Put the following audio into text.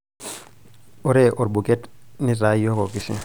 ore olbuket nitaa iyiok okishi